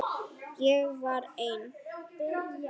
Ég var ein.